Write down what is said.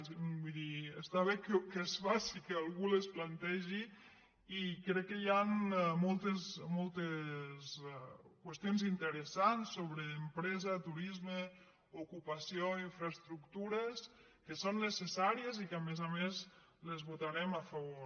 vull dir està bé que es faci que algú les plantegi i crec que hi han moltes qüestions interessants sobre empre·sa turisme ocupació infraestructures que són neces·sàries i que a més a més les votarem a favor